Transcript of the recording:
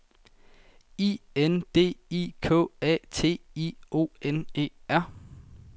I N D I K A T I O N E R